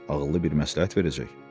Ağıllı bir məsləhət verəcək.